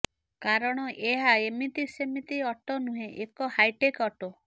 କାରଣ ଏହା ଏମିତି ସେମିତି ଅଟୋ ନୁହେଁ ଏକ ହାଇଟେକ୍ ଅଟୋ